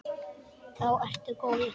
Þá ertu góður.